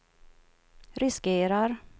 riskerar